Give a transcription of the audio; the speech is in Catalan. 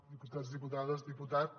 diputats diputades diputat